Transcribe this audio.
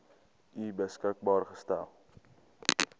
u beskikbaar gestel